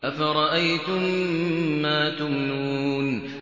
أَفَرَأَيْتُم مَّا تُمْنُونَ